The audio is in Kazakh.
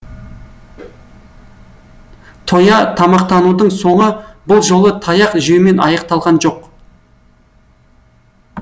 тоя тамақтанудың соңы бұл жолы таяқ жеумен аяқталған жоқ